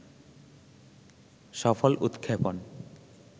সফল উৎক্ষেপণ